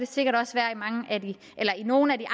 sikkert også være i nogle af de